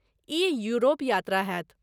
ई Europe यात्रा होयत।